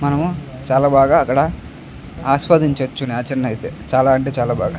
మనము చాలా బాగా అక్కడ ఆస్వాదించవచ్చు నేచర్ ని ఐతే చాలా అంటే చాలా బాగా --